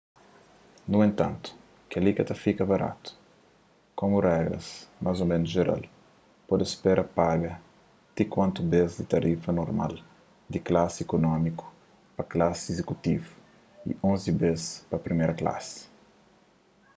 nu entantu kel-li ka ta fika baratu komu regras más ô ménus jeral pode spera paga ti kuatu bês di tarifa normal di klasi ikunómiku pa klasi izikutivu y onzi bês pa priméra klasi